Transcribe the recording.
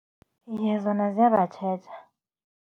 Iye, zona ziyabatjheja.